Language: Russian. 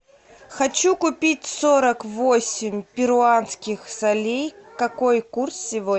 хочу купить сорок восемь перуанских солей какой курс сегодня